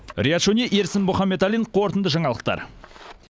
риат шони ерсін мұханбеталин қорытынды жаңалықтар